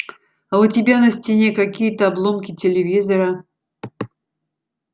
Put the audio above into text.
а у тебя на стене какие-то обломки телевизора